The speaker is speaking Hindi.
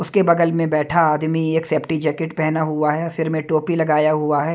उसके बगल में बैठा आदमी एक सेफ्टी जैकेट पहना हुआ है सिर में टोपी लगाया हुआ है।